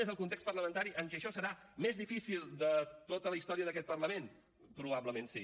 és el context parlamentari en que això serà més difícil de tota la història d’aquest parlament probablement sí